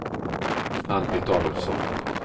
Ann-Britt Adolfsson